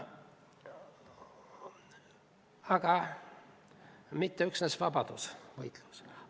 Aga see ei ole mitte üksnes vabadusvõitlus.